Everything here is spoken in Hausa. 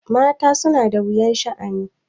Mata suna da wuyan sha'ani.